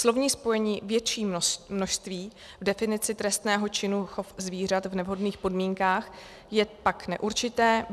Slovní spojení "větší množství" v definici trestného činu "chov zvířat v nevhodných podmínkách" je pak neurčité.